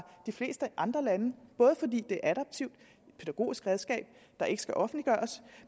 de fleste andre landes både fordi det adaptivt pædagogisk redskab der ikke skal offentliggøres